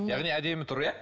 яғни әдемі тұр иә